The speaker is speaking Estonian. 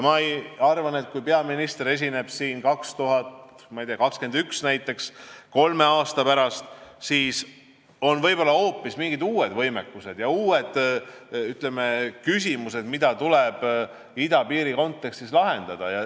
Ma arvan, et kui peaminister esineb siin näiteks 2021, kolme aasta pärast, siis on võib-olla hoopis mingid uued võimekused ja uued küsimused, mida tuleb idapiiri kontekstis lahendada.